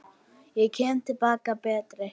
Ég kem til baka betri.